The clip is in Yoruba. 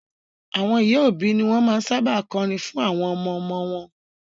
Àwọn ìyá òbí ni wọn máa ń sábà kọrin fún àwọn ọmọ-ọmọ wọn